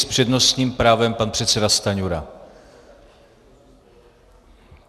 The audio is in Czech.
S přednostním právem pan předseda Stanjura.